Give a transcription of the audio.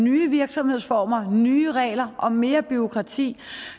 nye virksomhedsformer nye regler og mere bureaukrati